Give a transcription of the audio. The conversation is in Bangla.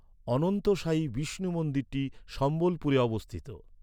অনন্তসায়ী বিষ্ণু মন্দিরটি সম্বলপুরে অবস্থিত।